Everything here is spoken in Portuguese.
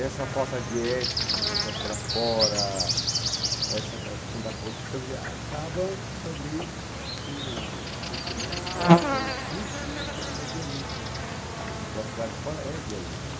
Essa falta de ética que acontece lá fora, essa questão da corrupção, quer dizer, acaba também sendo, acontecendo na escola também, principalmente a questão da violência, né, porque a cidade de fora é violenta.